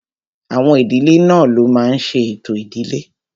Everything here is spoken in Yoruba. Àwọn ìdílé náà ló máa n ṣe ètò ìdílé